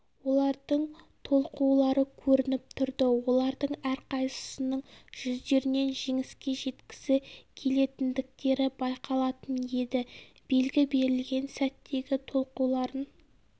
олардың толқулары көрініп тұрды олардың әрқайсысының жүздерінен жеңіске жеткісі келетіндіктері байқалатын еді белгі берілген сәттегі толқуларын